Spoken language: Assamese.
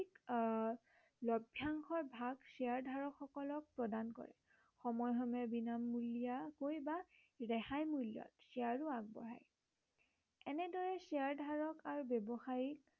আহ লভ্য়াংশৰ ভাগ শ্বেয়াৰ ধাৰক সকলক প্ৰদান কৰে সময়ে সময়ে বিনামূলীয়াকৈ বা ৰেহায় মূল্য়ত শ্বেয়াৰো আগবঢ়ায়। এনেদৰে শ্বেয়াৰ ধাৰক আৰু ব্য়ৱসায়ী